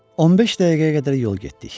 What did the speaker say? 15 dəqiqəyə qədər yol getdik.